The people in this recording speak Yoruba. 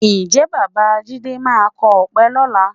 Ǹjẹ́ Bàbá jídé máa kọ ọ̀pẹ lọ́la?